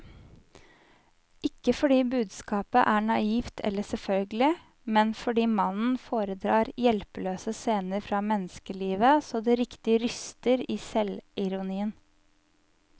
Ikke fordi budskapet er naivt eller selvfølgelig, men fordi mannen foredrar hjelpeløse scener fra menneskelivet så det riktig ryster i selvironien.